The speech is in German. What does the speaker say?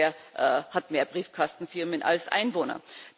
Delaware hat mehr Briefkastenfirmen als Einwohner.